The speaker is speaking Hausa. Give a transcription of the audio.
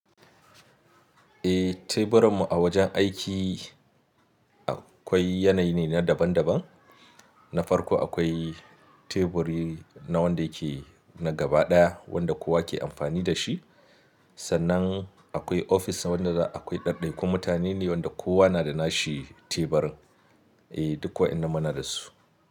Eh, teburan mu a wajen aiki akwai yanayi ne na daban-daban. Na farko akwai teburi na wanda yake na gaba ɗaya wanda kowa ke amfani da shi. Sannan akwai ofis wanda akwai ɗaɗai kun mutane ne wanda kowa na da nashi teburin. Eh duk wayannan muna da su.